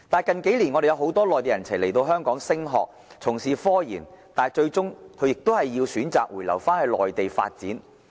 近數年，很多內地人才來港升學，從事科研，但他們最終選擇回流內地發展。